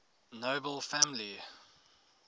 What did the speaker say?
nobel family